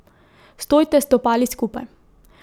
Stojte s stopali skupaj.